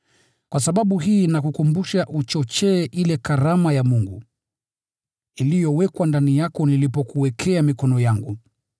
Kwa sababu hii nakukumbusha uchochee ile karama ya Mungu, iliyowekwa ndani yako nilipokuwekea mikono yangu.